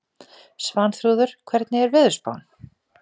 Svanþrúður, hvernig er veðurspáin?